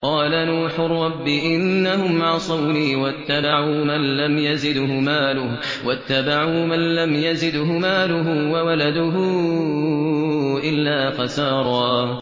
قَالَ نُوحٌ رَّبِّ إِنَّهُمْ عَصَوْنِي وَاتَّبَعُوا مَن لَّمْ يَزِدْهُ مَالُهُ وَوَلَدُهُ إِلَّا خَسَارًا